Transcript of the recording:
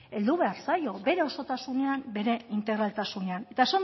heldu behar zaio bere osotasunean bere integraltasunean eta